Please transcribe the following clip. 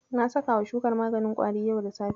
Na sakawa shukar maganin ƙwari yau da safe.